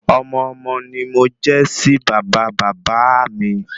Ọmọ-ọmọ ni mo jẹ́ sí bàbá bàbá áà mi